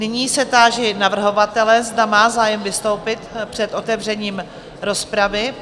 Nyní se táži navrhovatele, zda má zájem vystoupit před otevřením rozpravy?